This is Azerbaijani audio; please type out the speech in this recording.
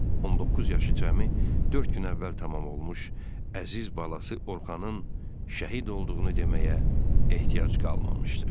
19 yaşı cəmi dörd gün əvvəl tamam olmuş əziz balası Orxanın şəhid olduğunu deməyə ehtiyac qalmamışdı.